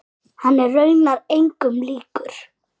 Hann er raunar engum líkur.